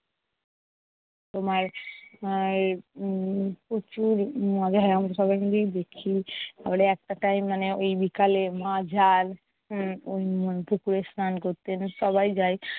তোমার আর উম প্রচুর মজা হয়। আমরা সবাই মিলেই দেখি। পরে একটা time মানে ঐ বিকালে মা যান উম পুকুরে স্নান করতে। সবাই যায়।